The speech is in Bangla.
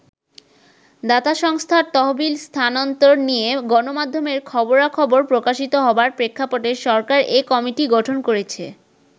দাতা সংস্থার তহবিল স্থানান্তর নিয়ে গণমাধ্যমের খবরা-খবর প্রকাশিত হবার প্রেক্ষাপটে সরকার এ কমিটি গঠন করেছে।